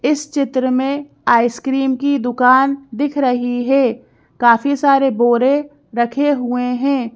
इस चित्र में आइसक्रीम की दुकान दिख रही है काफी सारे बोरे रखे हुए हैं।